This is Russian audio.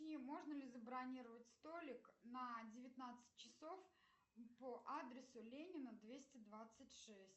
можно ли забронировать столик на девятнадцать часов по адресу ленина двести двадцать шесть